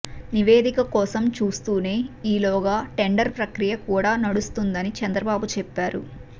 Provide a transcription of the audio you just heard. నివేదిక కోసం చూస్తూనే ఈలోగా టెండరు ప్రక్రియ కూడా నడుస్తుందని చంద్రబాబు చెప్పారు